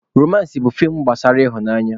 Romansị bụ feem gbasara ịhụnanya.